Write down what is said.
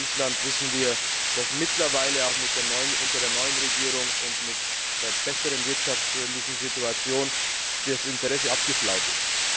Im Fall von Island wissen wir, dass mittlerweile auch unter der neuen Regierung und mit der besseren wirtschaftlichen Situation das Interesse abgeflaut ist.